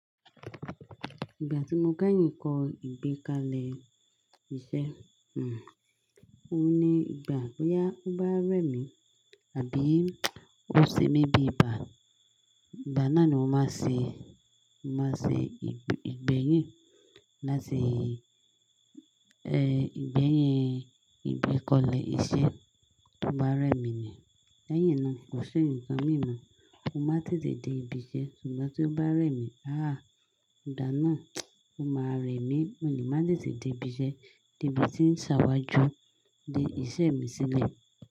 Ìgbà tí mo kẹ́yìn kọ ìgbé kalẹ̀ iṣẹ́, ohun ní ìgbà boya, tobá rẹ́ mi àbí ó ṣe mí bí ibà, ngbà náà ni mo máa n ṣe, mó máa n ṣe igbe, ìgbẹ́yìn láti, ẹ́, ìgbẹ́yìn ìgbé kalẹ̀ iṣẹ́ tó bá rẹ́ mi ni. Lẹ́yìn náà kò ṣi nǹkan mìíràn, n máa tètè dé ibi iṣẹ́. Ṣùgbọ́n tí ó bá rẹ́ mi, ahhh! Ngbà náà ó máa rẹ́ mi, mo le màá tètè dé ibi iṣẹ́, dé ibi tí ń ṣàwájú de iṣẹ́ mi sílẹ̀.